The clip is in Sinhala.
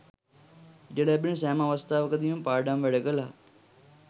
ඉඩ ලැබෙන සෑම අවස්ථාවකදීම පාඩම් වැඩ කළා.